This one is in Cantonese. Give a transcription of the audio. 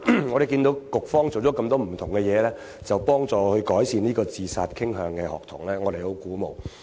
我們看到局方做了很多不同的工作，幫助有自殺傾向的學童，我們很鼓舞。